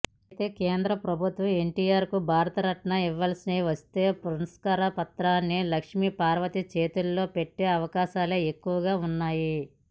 అయితే కేంద్ర పభుత్వం ఎన్టీఆర్కు భారతరత్న ఇవ్వాల్సి వస్తే పురస్కార పత్రాన్ని లక్ష్మిపార్వతి చేతిలో పెట్టే అవకాశాలే ఎక్కువగా వున్నాయి